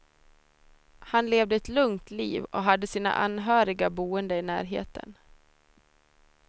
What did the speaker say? Han levde ett lugnt liv och hade sina anhöriga boende i närheten.